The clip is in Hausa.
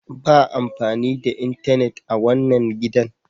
Ba amfani da intenet a wanan gidan!